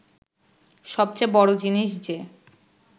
সবচেয়ে বড় জিনিস যে